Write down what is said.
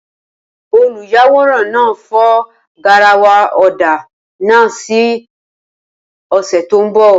Olùyàwòrán náà fọ́ garawa ọ̀dà náà ní ọ̀sẹ̀ tó kọjá.